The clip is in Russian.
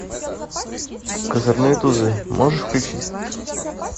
козырные тузы можешь включить